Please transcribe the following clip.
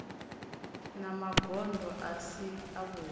na magondo a si avhudi